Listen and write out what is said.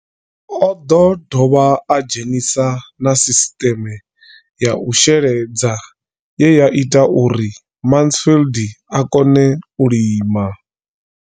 O ḓo dovha a dzhenisa na sisiṱeme ya u sheledza ye ya ita uri Mansfied a kone u lima.